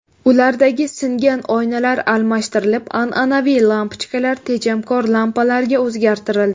Ulardagi singan oynalar almashtirilib, an’anaviy lampochkalar tejamkor lampalarga o‘zgartirildi.